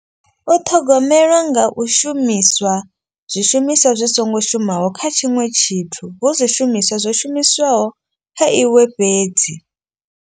U ṱhogomelwa nga u shumiswa zwishumiswa zwi songo shumaho kha tshiṅwe tshithu. Hu zwishumiswa zwo shumiswaho kha iwe fhedzi.